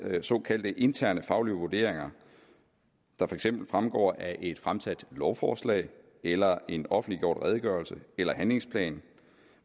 såkaldte interne faglige vurderinger der for eksempel fremgår af et fremsat lovforslag eller en offentliggjort redegørelse eller handlingsplan